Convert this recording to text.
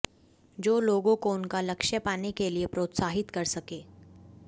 जो लोगों को उनका लक्ष्य पाने के लिए प्रोत्साहित कर सके